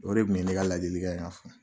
O de tun ye ne ka ladilikan ka fɔ.